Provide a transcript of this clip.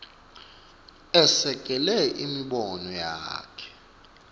esekele imibono yakhe